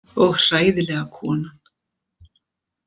Og hræðilega konan.